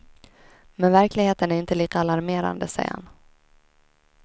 Men verkligheten är inte lika alarmerande, säger han.